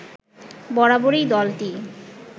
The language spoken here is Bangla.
বরাবরই দলটি